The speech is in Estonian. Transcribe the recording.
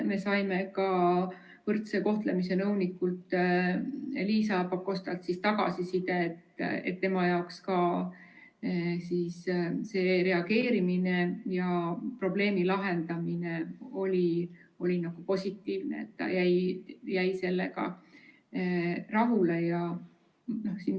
Me saime ka võrdse kohtlemise nõunikult Liisa Pakostalt tagasisidet, et tema jaoks selline reageerimine ja probleemi lahendamine oli positiivne, ta jäi sellega rahule.